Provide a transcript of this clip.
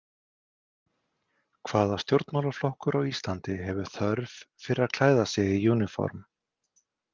Hvaða stjórnmálaflokkur á Íslandi hefur þörf fyrir að klæða sig í uniform?